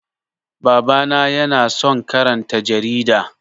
Baba na ya na son karanta jarida